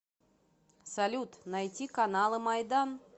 салют найти каналы майдан